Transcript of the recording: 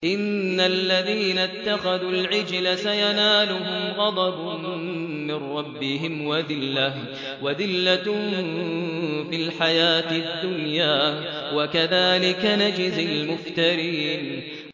إِنَّ الَّذِينَ اتَّخَذُوا الْعِجْلَ سَيَنَالُهُمْ غَضَبٌ مِّن رَّبِّهِمْ وَذِلَّةٌ فِي الْحَيَاةِ الدُّنْيَا ۚ وَكَذَٰلِكَ نَجْزِي الْمُفْتَرِينَ